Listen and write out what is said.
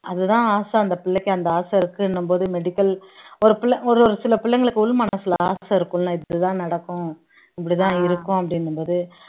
அதுதான் ஆசை அந்த பிள்ளைக்கு அந்த ஆசை இருக்குன்னும் போது medical ஒரு பிள்ளை ஒரு ஒரு சில பிள்ளைங்களுக்கு உள் மனசுல ஆசை இருக்கும்ல இப்படித்தான் நடக்கும் இப்படித்தான் இருக்கும் அப்படிங்கும்போது